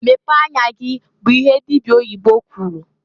"Mepee anya gi!" bụ ihe dibia oyibo kwuru.